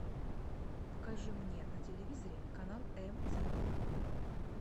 покажи мне на телевизоре канал эмтиви